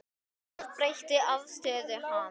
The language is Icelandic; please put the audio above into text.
Það breytti afstöðu hans.